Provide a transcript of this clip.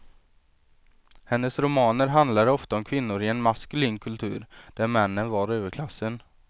Hennes romaner handlade ofta om kvinnor i en maskulin kultur där männen var överklassen.